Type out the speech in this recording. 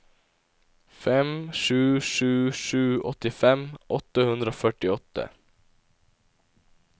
fem sju sju sju åttifem åtte hundre og førtiåtte